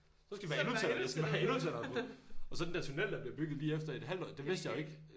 Så skal vi være endnu tættere så skal vi bare være endnu tættere på og så den der tunnel der bliver bygget lige efter et halvt år det vidste jeg jo ikke